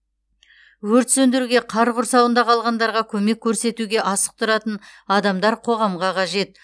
өрт сөндіруге қар құрсауында қалғандарға көмек көрсетуге асық тұратын адамдар қоғамға қажет